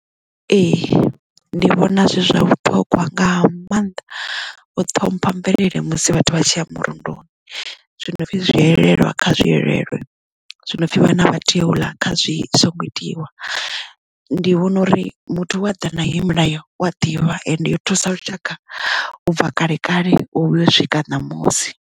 Ee ndi vhona zwi zwa vhuṱhongwa nga mannḓa u ṱhompha mvelele musi vhathu vha tshi ya murunduni zwinopfi zwi hwelelwa kha zwi elelwe zwinopfi vhana a vha tei uḽa kha zwi songo itiwa ndi vhona uri muthu we ḓa na heyi milayo wa ḓivha ende yo thusa lushaka u bva kale kale u swika ṋamusi.